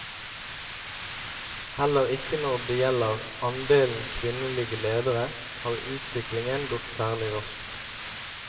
Heller ikke når det gjelder andelen kvinnelige ledere, har utviklingen gått særlig raskt.